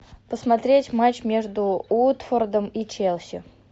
посмотреть матч между уотфордом и челси